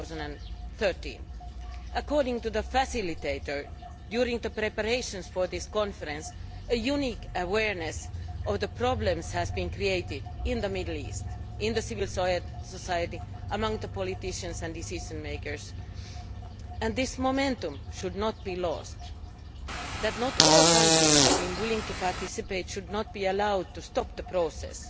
2013. According to the facilitator, during the preparations for this Conference a unique awareness of the problems has been created in the Middle East in civil society, among politicians and decision makers, and this momentum should not be lost. The fact that not all countries have been willing to participate should not be allowed to stop the process.